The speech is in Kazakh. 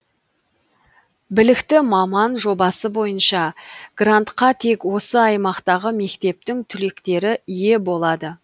білікті маман жобасы бойынша грантка тек осы аймақтағы мектептің түлектері ие болады